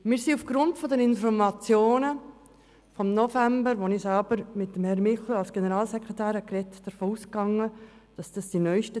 Wir gingen bei den Informationen im November 2017 davon aus, dass wir den Stand der neusten Zahlen vorliegend hätten, die uns auch heute Morgen präsentiert wurden.